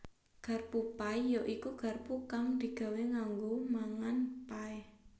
Garpu pie ya iku garpu kang digawé kanggo mangan pie